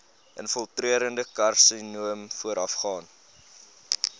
infiltrerende karsinoom voorafgaan